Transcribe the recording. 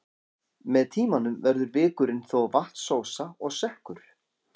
Með tímanum verður vikurinn þó vatnsósa og sekkur.